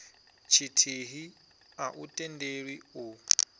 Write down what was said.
tshithihi a u tendelwi u